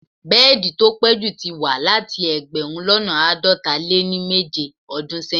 Bẹ́ẹ̀di tó pẹ̀ jú tí wà láti ẹgbẹ̀rún lọ́nà àádọta lé ní méje ọdún sẹ́yìn.